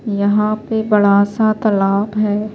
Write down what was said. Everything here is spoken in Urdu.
.یحیٰ پی بدا سا تالاب ہیں